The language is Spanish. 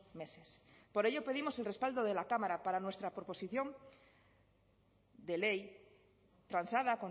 meses por ello pedimos el respaldo de la cámara para nuestra proposición de ley transada